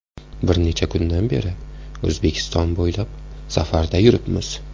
Bir necha kundan beri O‘zbekiston bo‘ylab safarda yuribmiz.